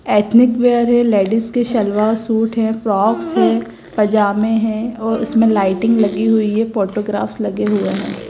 Ethnic wear है ladies के salwar suit हैं फ्रॉक्स हैं पजामे हैं और उसमें लाइटिंग लगी हुई है फोटोग्राफ़्स लगे हुए हैं।